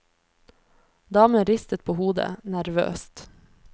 Damen ristet på hodet, nervøst.